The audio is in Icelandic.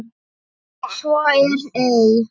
Svo er ei.